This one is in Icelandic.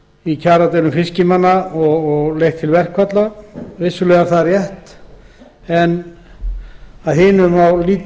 í kjaradeilum fiskimanna og að þau hafi leitt til verkfalla vissulega er rétt að oft hafi